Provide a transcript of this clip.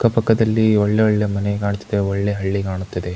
ಅಕ್ಕ ಪಕ್ಕದಲ್ಲಿ ಒಳ್ಳೆ ಒಳ್ಳೆ ಮನೆ ಕಾಣುತ್ತಿದೆ ಒಳ್ಳೆ ಹಳ್ಳಿ ಕಾಣುತ್ತಿದೆ.